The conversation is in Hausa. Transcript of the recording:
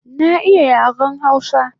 Na iya yaren hausa